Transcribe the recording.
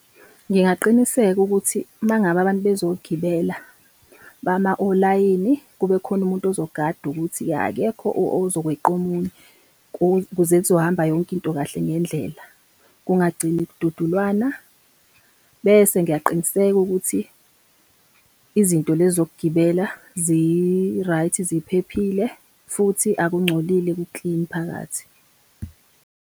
Ngingaqiniseka ukuthi mangabe abantu bezogibela, bama olayini kube khona umuntu ozogada ukuthi akekho ozokwenza omunye ukuze kuzohamba yonke into kahle ngendlela, kungagcini kudududulwana. Bese ngiyaqiniseka ukuthi izinto lezi zokugibela zi-right, ziphephile futhi akungcolile ku-clean phakathi.